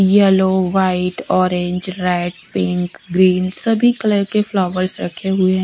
Yellow white orange red pink green सभी colour के flowers रखे हुए हैं ।